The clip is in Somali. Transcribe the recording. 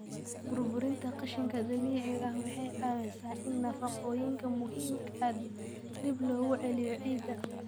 Burburinta qashinka dabiiciga ah waxay caawisaa in nafaqooyinka muhiimka ah dib loogu celiyo ciidda.